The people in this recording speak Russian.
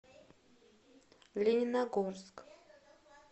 лениногорск